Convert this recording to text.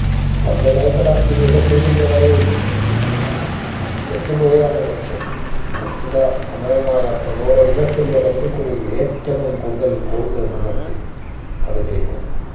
പന്ത് കൈക്കലാക്കി എതിർ team ന്റെ വലയിൽ എത്തിക്കുകയാണ് ലക്ഷ്യം നിശ്ചിത സമയമായ തൊണ്ണൂറ് minute ന്റെ പരിധിക്കുള്ളിൽ ഏറ്റവും കൂടുതൽ goal നേടുന്ന team കളി ജയിക്കുന്നു